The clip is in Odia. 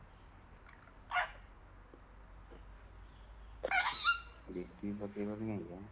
district ପକେଇବନି କାହିଁକି ବା